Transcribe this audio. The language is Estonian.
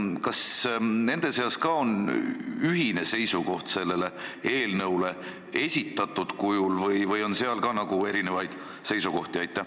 Kas nende seas ka on ühine seisukoht sellisel kujul esitatud eelnõu kohta või on seal ka erinevaid arvamusi?